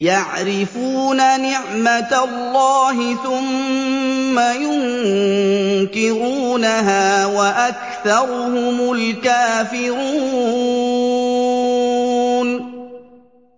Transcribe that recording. يَعْرِفُونَ نِعْمَتَ اللَّهِ ثُمَّ يُنكِرُونَهَا وَأَكْثَرُهُمُ الْكَافِرُونَ